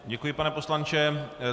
Děkuji, pane poslanče.